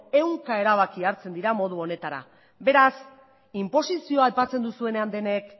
ehunka erabaki hartzen dira modu honetara beraz inposizioa aipatzen duzuenean denek